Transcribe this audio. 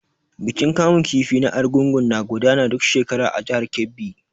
Bikin kamun kifi na Argungu na gudana duk shekara a jihar Kebbi.